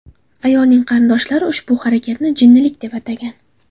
Ayolning qarindoshlari ushbu harakatni jinnilik deb atagan.